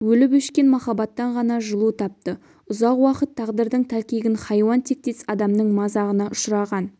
өліп-өшкен махаббаттан ғана жылу тапты ұзақ уақыт тағдырдың тәлкегін хайуан тектес адамның мазағына ұшыраған